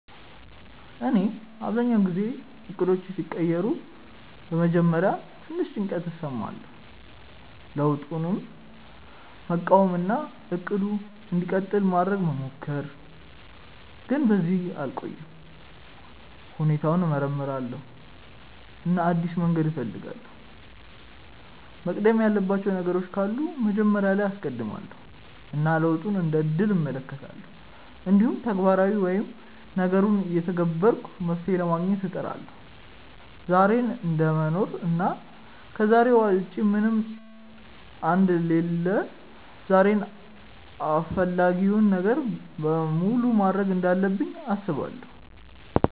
እኔ አብዛኛውን ጊዜ እቅዶቼ ሲቀየሩ በመጀመሪያ ትንሽ ጭንቀት እሰማለሁ፣ ለውጡን መቃወም እና “እቅዱ እንዲቀጥል” ማድረግ መሞከር፣ ግን በዚያ አልቆይም። ሁኔታውን እመርምራለሁ እና አዲስ መንገድ እፈልጋለሁ፤ መቅደም ያለባቸው ነገሮች ካሉ መጀመሪያ ላይ አስቀድማለው እና ለውጡን እንደ እድል እመለከታለሁ። እንዲሁም ተግባራዊ ወይም ነገሩን እየተገበርኩ መፍትሄ ለማግኘት እጥራለሁ። ዛሬን እደምኖር እና ከዛሬ ውጪ ምንም አንደ ሌለሁ ዛሬን አፈላጊውን ነገር በሙሉ ማድርግ እንዳለብኝ አስባለው።